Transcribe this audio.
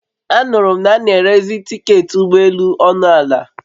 A nụrụ m na a n'erezi tiketị ụgbọ elù ọnụ ala